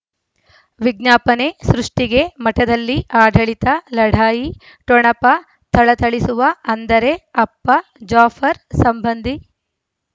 ವಿಜ್ಞಾಪನೆ ಸೃಷ್ಟಿಗೆ ಮಠದಲ್ಲಿ ಆಡಳಿತ ಲಢಾಯಿ ಠೊಣಪ ಥಳಥಳಿಸುವ ಅಂದರೆ ಅಪ್ಪ ಜಾಫರ್ ಸಂಬಂಧಿ